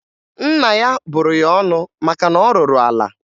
Nna ya bụrụ ya ọnụ maka na ọ rụrụ ala